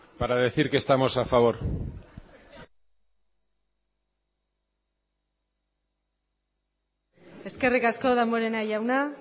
para decir que estamos a favor eskerrik asko damborenea jauna